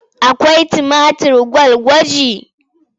Akwai tumatir gwalagwaje?